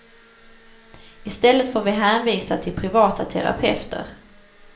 Istället får vi hänvisa till privata terapeuter.